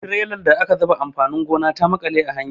Trelar da aka zuba amfanin gona ta maƙale a hanya.